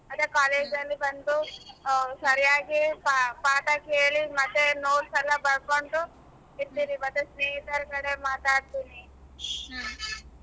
ಮತ್ತೆ college ಅಲ್ಲಿ ಬಂದು ಸರಿಯಾಗಿ ಪಾ~ ಪಾಠ ಕೇಳಿ ಮತ್ತೆ notes ಎಲ್ಲ ಬರಕೊಂಡು ಇರ್ತೀನಿ ಮತ್ತೆ ಸ್ನೇಹಿತರ ಕಡೆಗೆ ಮಾತಾಡತಿನಿ .